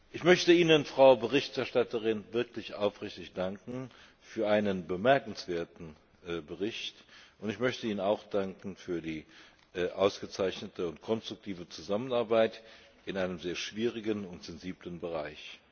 Ich möchte Ihnen, Frau Berichterstatterin, wirklich aufrichtig für einen bemerkenswerten Bericht danken, und ich möchte Ihnen auch danken für die ausgezeichnete konstruktive Zusammenarbeit in einem sehr schwierigen und sensiblen Bereich.